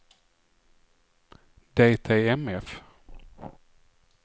DTMF